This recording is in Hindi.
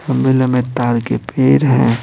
लंबे-लंबे तार के फेर है।